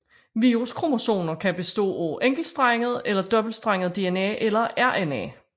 Viruskromosomer kan bestå af enkeltstrenget eller dobbeltstrenget DNA eller RNA